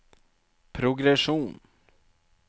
progresjon